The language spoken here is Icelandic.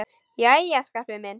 Jæja, Skarpi minn.